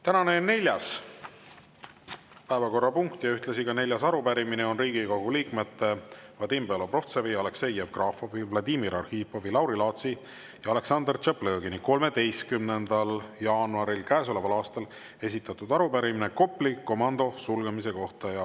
Tänane neljas päevakorrapunkt ja ühtlasi neljas arupärimine on Riigikogu liikmete Vadim Belobrovtsevi, Aleksei Jevgrafovi, Vladimir Arhipovi, Lauri Laatsi ja Aleksandr Tšaplõgini 13. jaanuaril käesoleval aastal esitatud arupärimine Kopli komando sulgemise kohta.